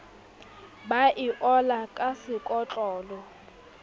ba e ola ka sekotlolo